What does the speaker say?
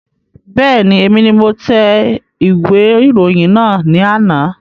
Bẹ́ẹ̀ni, èmi ni mo tẹ ìwé ìròyìn náà ní àná